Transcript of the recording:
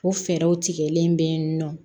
O fɛɛrɛw tigɛlen bɛ yen nɔ